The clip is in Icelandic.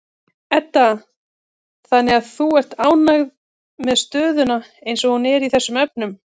Edda: Þannig að þú ert ánægður með stöðuna eins og hún er í þessum efnum?